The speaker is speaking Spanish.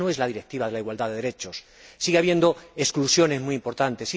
esta no es la directiva de la igualdad de derechos sigue habiendo exclusiones muy importantes